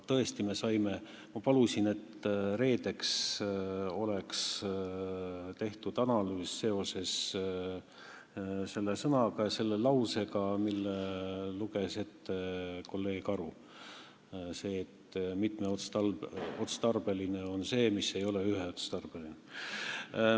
Tõesti, ma palusin, et reedeks oleks tehtud analüüs selle sõna ja selle lause kohta, mille luges ette kolleeg Aru, "Mitmeotstarbeline vautšer on muu vautšer kui üheotstarbeline vautšer.